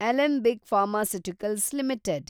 Alembic pharmaceuticals limited